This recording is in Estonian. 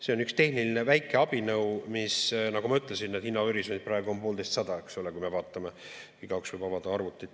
See on üks tehniline väike abinõu, nagu ma ütlesin, hinnahorisont praegu on poolteistsada, eks ole, kui me vaatame, igaüks võib avada arvuti.